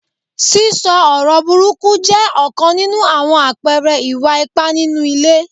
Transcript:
Sísọ ọ̀rọ̀ burúkú jẹ́ ọ̀kan nínú àwọn àpẹẹrẹ ìwà ipá nínú ilé.